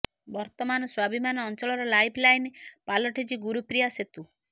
ବର୍ତ୍ତମାନ ସ୍ୱାଭିମାନ ଅଞ୍ଚଳର ଲାଇଫ ଲାଇନ ପାଲଟିଛି ଗୁରୁପ୍ରିୟା ସେତୁ